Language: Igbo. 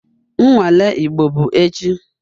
Nnwale Igbo bụ echi